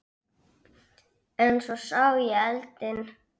En svo sá ég eldinn.